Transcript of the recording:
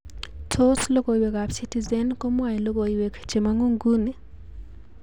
Tos logoiwekab citizen komwoe logoiwek chemongu nguni?